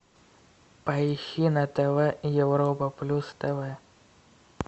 поищи на тв европа плюс тв